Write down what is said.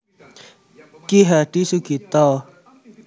Ki Hadi Sugito